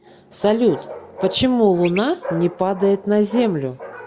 салют почему луна не падает на землю